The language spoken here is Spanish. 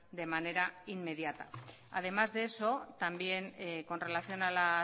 de manera inmediata además de eso también con relación a la